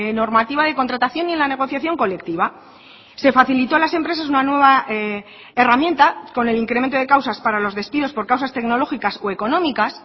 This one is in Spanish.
normativa de contratación y en la negociación colectiva se facilitó a las empresas una nueva herramienta con el incremento de causas para los despidos por causas tecnológicas o económicas